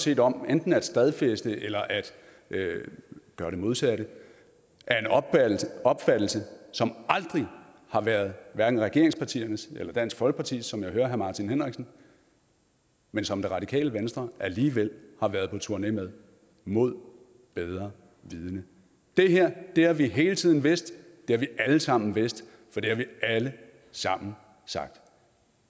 set om enten at stedfæste eller at gøre det modsatte af en opfattelse som aldrig har været hverken regeringspartiernes eller dansk folkepartis som jeg hører herre martin henriksen men som det radikale venstre alligevel har været på turné med mod bedre vidende det her har vi hele tiden vidst det har vi alle sammen vidst for det har vi alle sammen sagt